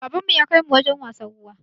Baban mu ya kai mu wajen wasan ruwa